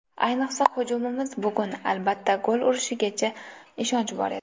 Ayniqsa hujumimiz bugun, albatta, gol urishiga ishonch bor edi.